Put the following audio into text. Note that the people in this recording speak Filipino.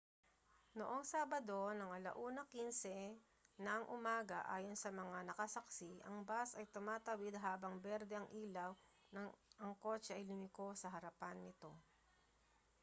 noong sabado ng 1:15 n.u. ayon sa mga nakasaksi ang bus ay tumatawid habang berde ang ilaw nang ang kotse ay lumiko sa harapan nito